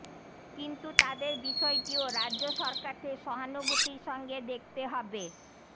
কিন্তু তাঁদের বিষয়টিও রাজ্য সরকারকে সহানুভূতির সঙ্গে দেখতে হবে